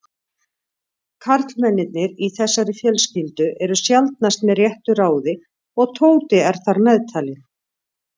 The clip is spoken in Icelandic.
Karlmennirnir í þessari fjölskyldu eru sjaldnast með réttu ráði og Tóti er þar meðtalinn.